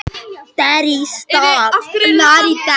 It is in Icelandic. Það inniheldur marga frábæra leikmenn og óska ég þeim því besta.